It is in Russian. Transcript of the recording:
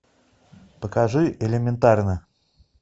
покажи элементарно